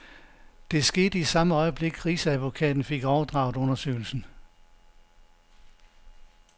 Det skete i samme øjeblik, rigsadvokaten fik overdraget undersøgelsen.